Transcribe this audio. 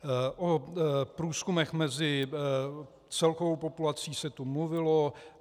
O průzkumech mezi celkovou populací se tu mluvilo.